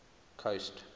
coast